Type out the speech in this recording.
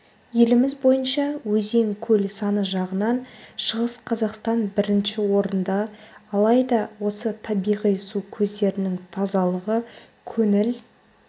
еліміз бойынша өзен-көл саны жағынан шығыс қазақстан бірінші орында алайда осы табиғи су көздерінің тазалығы көңіл